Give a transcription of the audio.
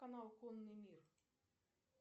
канал конный мир